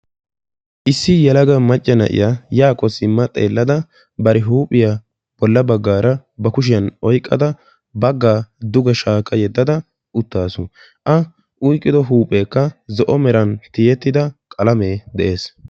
Issi yelaga macca na"iya yaakko simma xeellada bari huuphiya boolla baggaara ba kushiyan oyqqada baggaa duge shaakka yedada uttaasu. A oyqqido huupheekka zo"o meran tiyettida qalame de'ees.